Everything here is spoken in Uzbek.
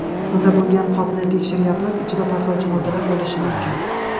Unda bo‘lgan qopni tekshiryapmiz, ichida portlovchi moddalar bo‘lishi mumkin.